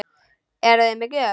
Eruði með gjöf?